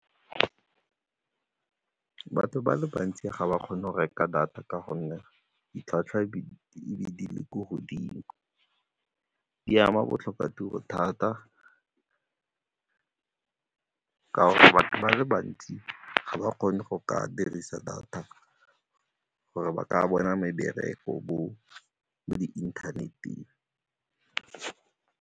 Batho ba le bantsi ga ba kgone go reka data ka gonne ditlhwatlhwa di be di le ko godimo, di ama botlhokatiro thata ka gore ba le bantsi ga ba kgone go ka dirisa data gore ba ka bona mebereko mo di-internet-eng.